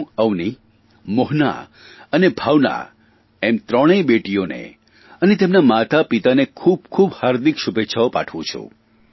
હું અવનિ મોહના અને ભાવના એમ ત્રણેય બેટીઓને અને તેમનાં માતાપિતાને ખૂબખૂબ હાર્દિક શુભેચ્છાઓ પાઠવું છું